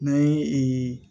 N'an ye